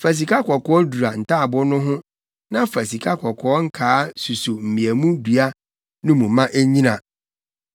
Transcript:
Fa sikakɔkɔɔ dura ntaaboo no ho na fa sikakɔkɔɔ nkaa suso mmeamu dua no mu na ennyina. Fa sikakɔkɔɔ dura mmeamu dua no nso ho.